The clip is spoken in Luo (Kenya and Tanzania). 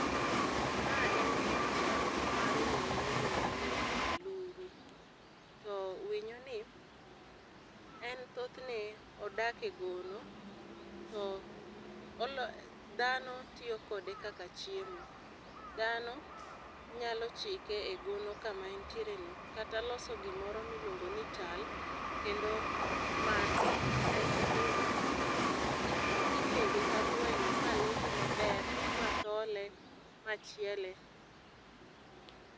Ma en picha mar winyo mi iluongo ni aluru. To winyo ni en thothne odak e gono to oloyo dhano tiyo kode kaka chiemo, dhano nyalo chike e gono ka ma en tiere no kata loso gi moro mi iluongo ni tal, kendo make aito koro inege kaka gweno ma lunye ma ber, ma thole, ma chiele.